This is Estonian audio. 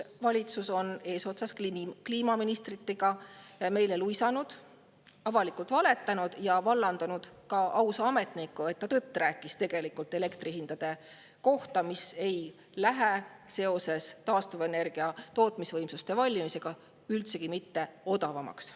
Valitsus on eesotsas kliimaministritega meile luisanud, avalikult valetanud ja vallandanud ka ausa ametniku, sest ta rääkis tõtt elektrihindade kohta, mis ei lähe seoses taastuvenergia tootmisvõimsuste valmimisega üldsegi mitte odavamaks.